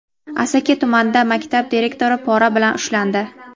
Asaka tumanida maktab direktori pora bilan ushlandi.